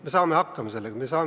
Me saame sellega hakkama.